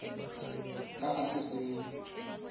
ka ga se se neng